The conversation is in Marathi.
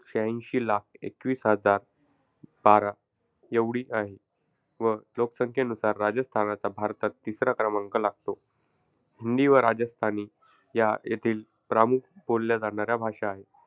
शाह्यांशी लाख एकवीस हजार बारा एवढी आहे. व लोकसंख्येनुसार राजस्थानाचा भारतात तिसरा क्रमांक लागतो. हिंदी व राजस्थानी या येथील प्रामुख बोलल्या जाणाऱ्या भाषा आहेत.